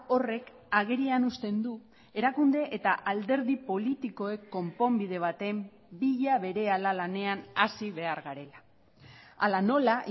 horrek agerian uzten du erakunde eta alderdi politikoek konponbide baten bila berehala lanean hasi behar garela hala nola